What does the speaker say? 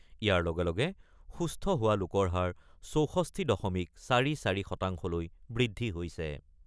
ইয়াৰ লগে লগে সুস্থ হোৱা লোকৰ হাৰ ৬৪ দশমিক ৪-৪ শতাংশলৈ বৃদ্ধি হৈছে।